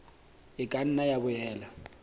e ka nna ya boela